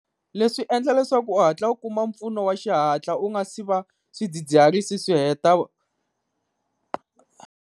Leswi endla leswaku u hatla u kuma mpfuno wa xihatla u nga si va swidzidziharisi swi heta.